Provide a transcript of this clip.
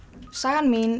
sagan mín